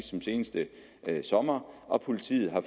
som sidste sommer og politiet har